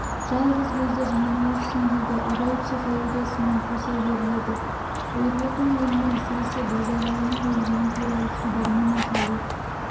жалғыз көзді жалмауызсың дейді абай психологиясымен қоса беріледі ерболдың өлімі әсіресе базаралының өлгені туралы хабармен аталу